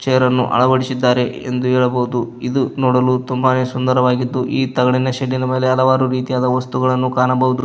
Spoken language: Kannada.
ತೇರನ್ನು ಅಳವಡಿಸಿದ್ದಾರೆ ಎಂದು ಹೇಳಬಹುದು ಇದು ನೋಡಲು ತುಂಬಾನೇ ಸುಂದರವಾಗಿದ್ದು ಈ ತಗಡಿನ ಶೇಡ್ದಿನ ಮೇಲೆ ಹಲವಾರು ರೀತಿಯಾದ ವಸ್ತುಗಳನ್ನು ಕಾಣಬಹುದು.